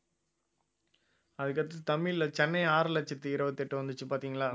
அதுக்கு அடுத்து தமிழ்ல சென்னை ஆறு லட்சத்தி இருபத்தி எட்டு வந்துச்சு பார்த்தீங்களா